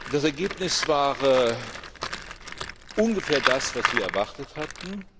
Das Ergebnis war ungefähr das, was wir erwartet hatten.